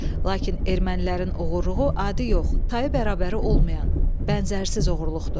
Lakin ermənilərin oğruluğu adi yox, tayı bərabəri olmayan, bənzərsiz oğruluqdur.